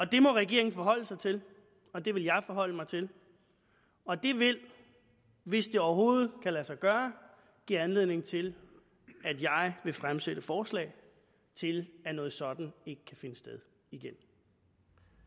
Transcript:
det må regeringen forholde sig til og det vil jeg forholde mig til og det vil hvis det overhovedet kan lade sig gøre give anledning til at jeg vil fremsætte forslag til at noget sådant ikke kan finde sted igen